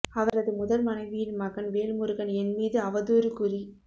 அவரது முதல் மனைவியின் மகன் வேல்முருகன் என் மீது அவதுாறு கூறி